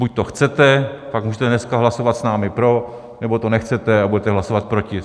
Buď to chcete, pak můžete dneska hlasovat s námi pro, nebo to nechcete a budete hlasovat proti.